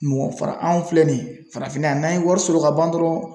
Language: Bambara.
Mɔgɔ fara anw filɛ nin ye farafinna yan n'an ye wari sɔrɔ ka ban dɔrɔn